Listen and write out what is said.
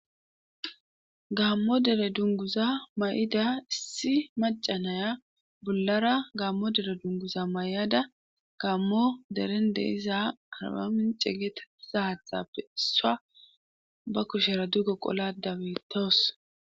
gaammo dere dunguza may7ida issi macanaya bollara gaammo dere dunguza may7ada gammo deren deiza harabamin cegete sahaxapesa ba kushera duggo qola dabetoos